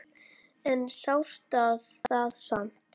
En sárt er það samt.